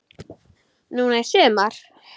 Núna í sumar?